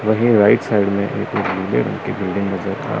वही right side में building की बिल्डिंग नजर आ--